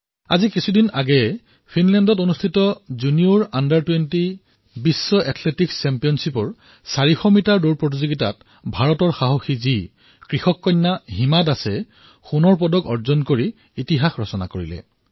আজি কিছুদিনৰ পূৰ্বে ফিনলেণ্ডত অনুষ্ঠিত হোৱা জুনিয়ৰ অনুৰ্ধ২০ বিশ্ব এথলেটিকছ চেম্পিয়নশ্বিপত ৪০০ মিটাৰ দৌৰৰ প্ৰতিযোগিতাত ভাৰতৰ সাহসী কন্যা আৰু কৃষক কন্যা হিমা দাসে সোণৰ পদক জয় কৰি ইতিহাস ৰচিলে